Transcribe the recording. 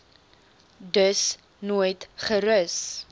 dus nooit gerus